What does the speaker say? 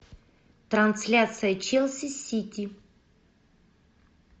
трансляция челси сити